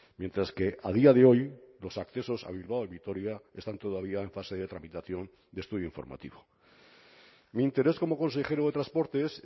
mientras que a día de hoy los accesos a bilbao y vitoria están todavía en fase de tramitación de estudio informativo mi interés como consejero de transportes